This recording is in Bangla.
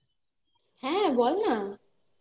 হ্যাঁ বলনা